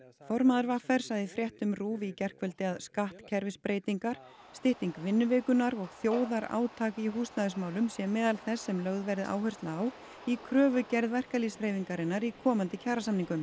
formaður v r sagði í fréttum RÚV í gærkvöldi að skattkerfisbreytingar stytting vinnuvikunnar og þjóðarátak í húsnæðismálum sé meðal þess sem lögð verði áhersla á í kröfugerð verkalýðshreyfingarinnar í komandi kjarasamningum